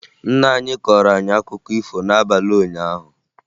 Nna anyị kọọrọ anyị akụkọ ifo n'abalị ụnyaahụ